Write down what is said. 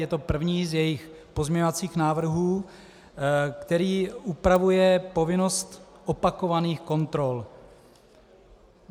Je to první z jejích pozměňovacích návrhů, který upravuje povinnost opakovaných kontrol.